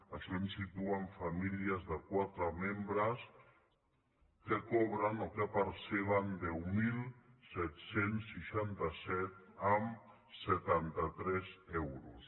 això ens situa en famílies de quatre membres que cobren o que perceben deu mil set cents i seixanta set coma setanta tres euros